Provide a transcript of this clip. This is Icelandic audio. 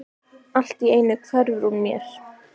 Allt í einu hverfur hún mér.